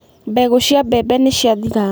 Mbegũ cia mbembe nĩ ciathira.